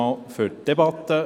Ich danke für diese Debatte.